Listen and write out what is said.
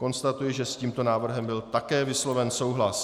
Konstatuji, že s tímto návrhem byl také vysloven souhlas.